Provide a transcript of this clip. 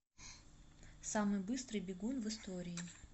самый быстрый бегун в истории